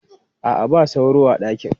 A'a, ba sauro a ɗakin.